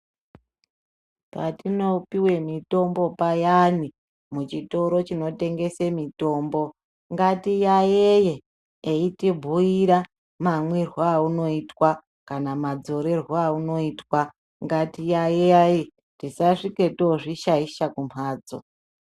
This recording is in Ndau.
Patinopuwe mitombo payani, muchitoro chinotengese mitombo, ngatiyayeye eyitibhuyira mamwirwo awunoitwa kana madzorerwo awunoitwa, ngatiyayeye tisasvike tozvishaisha kumbatso.